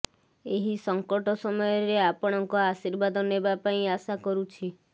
ଏହି ସଙ୍କଟ ସମୟରେ ଆପଣଙ୍କ ଆଶୀର୍ବାଦ ନେବା ପାଇଁ ଆଶା କରୁଛି